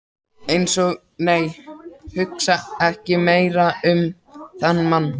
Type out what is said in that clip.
Eins og- nei, hugsa ekki meira um þann mann!